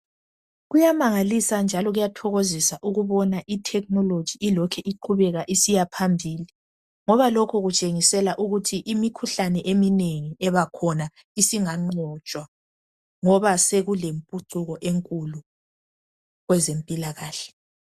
Kuyamangalisa njalo kuyathokozisa ukubona i"technology " ilokhu iqhubeka isiya phambili ngoba lokhu kutshengisela ukuthi imikhuhlane eminengi ekhona singanqotshwa ngoba sekulempuchuko enkulu kwezempilakahle.